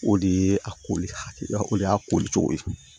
O de ye a ko hakilina o de y'a koli cogo ye